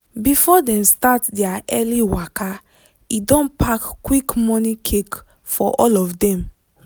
before dem start their early waka e don pack quick morning cake for all of dem.